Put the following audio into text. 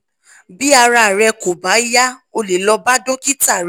bí ara rẹ kò bá yá o lè lọ bá dókítà rẹ